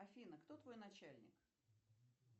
афина кто твой начальник